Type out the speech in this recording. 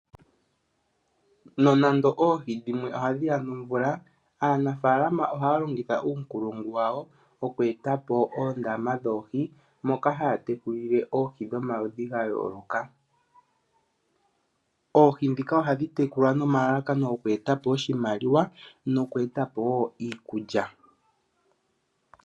Nonando oohi dhimwe ohadhi ya nomvula, aanafalama ohaya longitha uunkulungu wawo oku eta po oondama dhoohi moka haya tekulile oohi dhomaludhi ga yooloka. Oohi dhika ohadhi tekulwa nomalalakano gokweeta po oshimaliwa noku eta po wo iikulya.